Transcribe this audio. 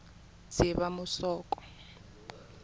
dzivamusoko